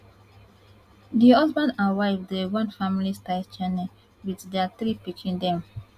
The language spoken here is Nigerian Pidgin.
di husband and wife dey run family style channel wit dia three pikin dem